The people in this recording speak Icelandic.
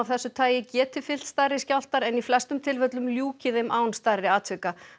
þessu tagi geti fylgt stærri skjálftar en í flestum tilfellum ljúki þeim án stærri atvika